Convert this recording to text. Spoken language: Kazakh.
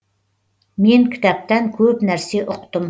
мен кітаптан көп нәрсе ұқтым